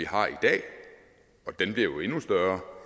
har i dag og den bliver jo endnu større